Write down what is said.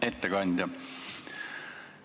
Hea ettekandja!